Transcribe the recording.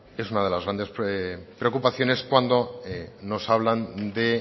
es una de las grandes preocupaciones cuando nos hablan de